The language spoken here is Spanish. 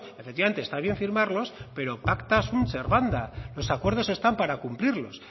efectivamente está bien firmarlos pero pacta sin ser banda los acuerdos están para cumplirlos